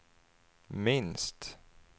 minst